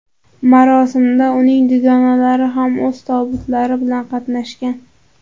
Marosimda uning dugonalari ham o‘z tobutlari bilan qatnashgan.